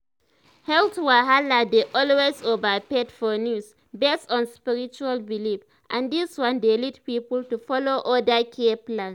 health wahala dey always overhyped for news based on spiritual belief and this one dey lead people to follow other care plans.